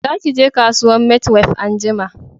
Za ki je kasuwan maitwef anjima